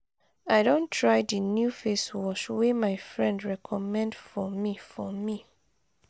i don try di new face wash wey my friend recommend for me. for me.